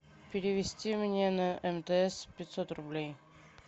перевести мне на мтс пятьсот рублей